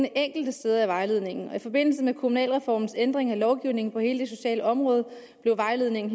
enkelte steder i vejledningen og i forbindelse med kommunalreformens ændring af lovgivningen på hele det sociale område blev vejledningen